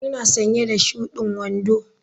Ina sanye da shudin wando.